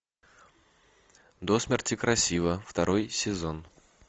до смерти красива второй сезон